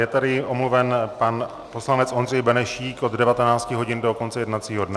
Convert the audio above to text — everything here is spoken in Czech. Je tady omluven pan poslanec Ondřej Benešík od 19 hodin do konce jednacího dne.